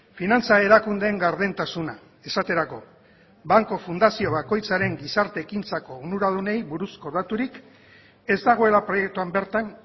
finantza erakundeen gardentasuna esaterako banku fundazio bakoitzaren gizarte ekintzako onuradunei buruzko daturik ez dagoela proiektuan bertan